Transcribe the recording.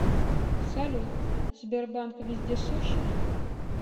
салют сбербанк вездесущ